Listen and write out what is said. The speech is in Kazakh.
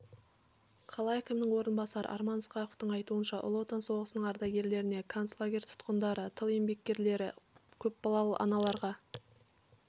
қала әкімінің орынбасары арман ысқақовтың айтуынша ұлы отан соғысының ардагерлеріне концлагерь тұтқындары тыл еңбеккерлері көпбалалы аналарға